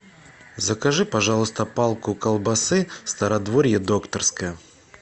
закажи пожалуйста палку колбасы стародворье докторская